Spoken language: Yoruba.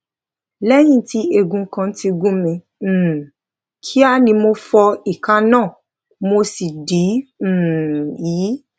léyìn tí ègún kan ti gún mi um kíá ni mo fọ ìka náà mo sì dì um í